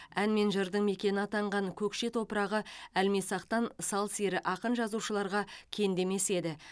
ән мен жырдың мекені атанған көкше топырағы әлмисақтан сал сері ақын жазушыларға кенде емес еді